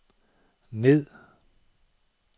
ned